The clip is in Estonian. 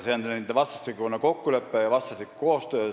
See on põllumeeste ja mesinike vastastikune kokkulepe ja koostöö.